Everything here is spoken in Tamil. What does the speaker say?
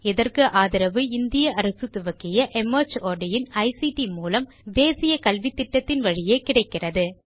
இதற்கு ஆதரவு இந்திய அரசு துவக்கிய மார்ட் இன் ஐசிடி மூலம் தேசிய கல்வித்திட்டத்தின் வழியே கிடைக்கிறது